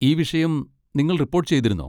ഈ വിഷയം നിങ്ങൾ റിപ്പോട്ട് ചെയ്തിരുന്നോ?